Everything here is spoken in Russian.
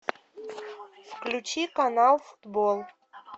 включи канал футбол